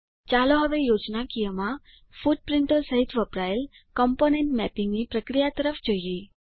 ચાલો હવે યોજનાકીયમાં ફૂટપ્રીંટો સહીત વપરાયેલ કમ્પોનન્ટ મેપિંગની પ્રક્રિયા તરફ જોઈએ